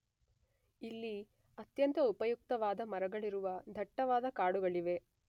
ಇಲ್ಲಿ ಅತ್ಯಂತ ಉಪಯುಕ್ತವಾದ ಮರಗಳಿರುವ ದಟ್ಟವಾದ ಕಾಡುಗಳಿವೆ